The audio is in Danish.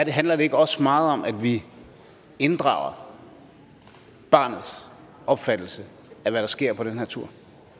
handler det ikke også meget om at vi inddrager barnets opfattelse af hvad der sker på den tur